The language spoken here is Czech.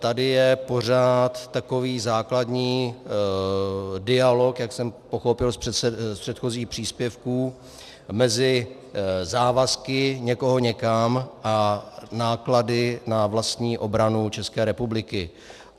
Tady je pořád takový základní dialog, jak jsem pochopil z předchozích příspěvků, mezi závazky někoho někam a náklady na vlastní obranu České republiky.